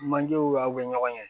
Manjew aw bɛ ɲɔgɔn ye